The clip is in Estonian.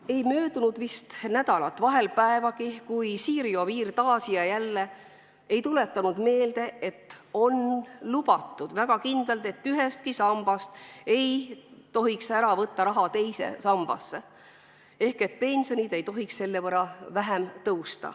Ei möödunud vist nädalat, vahel päevagi, kui Siiri Oviir poleks ikka ja jälle meelde tuletanud, et on väga kindlalt öeldud, et ühest sambast ei tohiks raha teise sambasse ära võtta ehk et pensionid ei tohiks selle võrra vähem suureneda.